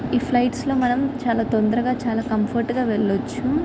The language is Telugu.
ఈ ఫ్లైట్ లి మనం చాలా తొందరగా చాలా కంఫర్ట్ గా వేళ్ళ వచ్చు.